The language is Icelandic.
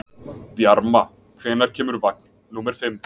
Bjarma, hvenær kemur vagn númer fimm?